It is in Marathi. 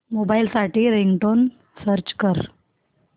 मोबाईल साठी रिंगटोन सर्च कर